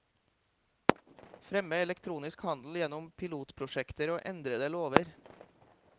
Fremme elektronisk handel gjennom pilotprosjekter og endrede lover.